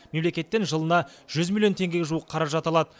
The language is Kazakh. мемлекеттен жылына жүз миллион теңгеге жуық қаражат алады